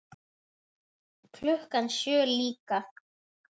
Klukkan sjö líka.